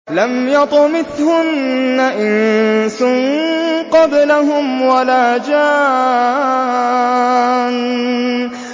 لَمْ يَطْمِثْهُنَّ إِنسٌ قَبْلَهُمْ وَلَا جَانٌّ